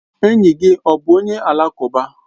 Enyi gị ọ bụ onye alakụba?